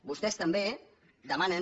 vostès també demanen